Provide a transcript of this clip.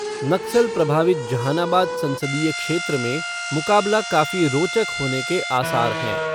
नक्सल प्रभावित जहानाबाद संसदीय क्षेत्र में मुकाबला काफी रोचक होने के आसार हैं।